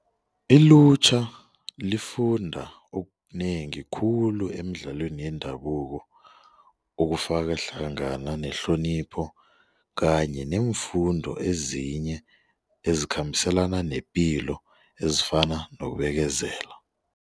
Ilutjha lifunda okunengi khulu emidlalweni yendabuko okufaka hlangana nehlonipho kanye neemfundo ezinye ezikhambiselana nepilo ezifana nokubekezela.